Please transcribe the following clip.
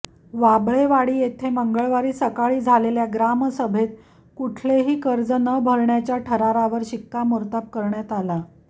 वाबळेवाडी येथे मंगळवारी सकाळी झालेल्या ग्रामसभेत कुठलेही कर्ज न भरण्याच्या ठरावावर शिक्कामोर्तब करण्यात आला